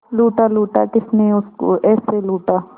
लूटा लूटा किसने उसको ऐसे लूटा